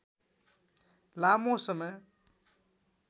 लामो समय